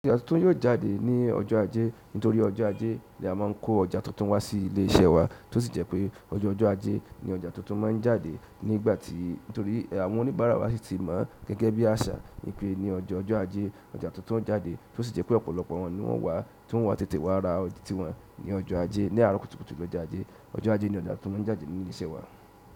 Ọjà tuntun yóò jáde ní ọjọ́ ajé. Nítorí ọjọ́ ajé ni a máa ń kó ọjà tuntun wá sí ilé iṣẹ́ wa, tó sì jẹ́ pé ọjọ́ ọjọ́ ajé ni ọjà tuntun máa ń jáde nígbà tí, nítorí àwọn oníbàárà wa sì ti mọọ gẹ́gẹ́ bí àṣà wípé ní ọjọ́ ọjọ́ ajé ọjà tuntun o jáde, tó sì jẹ́ pé ọ̀pọ̀lọpọ̀ wọn ni wọ́n wá, ti won o wá tètè wá ra tí wọn ní ọjọ́ ajé. Ni àárọ̀ kùtùkùtù lọ́jọ́ ajé, ọjọ́ ajé ni ọjà tuntun maa ń jáde ní ilé iṣẹ́ wa.